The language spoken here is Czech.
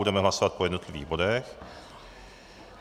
Budeme hlasovat po jednotlivých bodech.